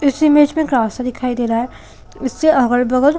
इस इमेज में एक रस्ता दिखाई दे रहा है इसके अगल-बगल--